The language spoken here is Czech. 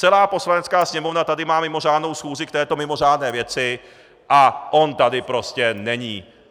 Celá Poslanecká sněmovna tady má mimořádnou schůzi k této mimořádné věci, a on tady prostě není!